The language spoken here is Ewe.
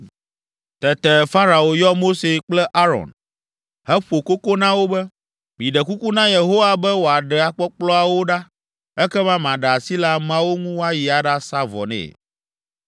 Tete Farao yɔ Mose kple Aron, heƒo koko na wo be, “Miɖe kuku na Yehowa be wòaɖe akpɔkplɔawo ɖa, ekema maɖe asi le ameawo ŋu woayi aɖasa vɔ nɛ.”